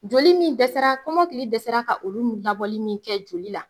Joli min dɛsɛra kɔmɔkili dɛsɛra ka olu labɔli min kɛ joli la